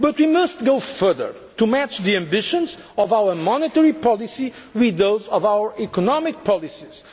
governance. But we must go further to match the ambitions of our monetary policy with those of our economic